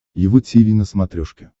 его тиви на смотрешке